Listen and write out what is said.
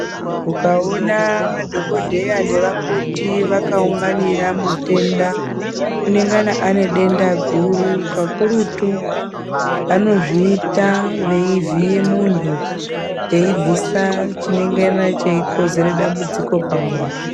Ukawona madhokodheya nevakoti vakaunganira muthenda unengana ane denda guru. Kakuruthu vanozviita veivhiye munhu vaebvisa chinengana cheikozere dambudziko pamunthu.